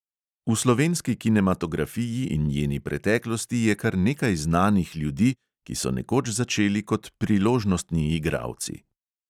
V slovenski kinematografiji in njeni preteklosti je kar nekaj znanih ljudi, ki so nekoč začeli kot priložnostni igralci.